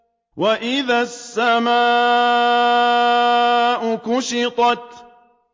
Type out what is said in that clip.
وَإِذَا السَّمَاءُ كُشِطَتْ